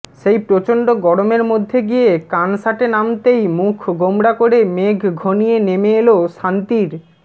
সেই প্রচণ্ড গরমের মধ্যে গিয়ে কানসাটে নামতেই মুখ গোমড়া করে মেঘ ঘনিয়ে নেমে এলো শান্তির